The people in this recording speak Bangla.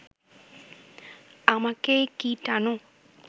আমাকে কি টানো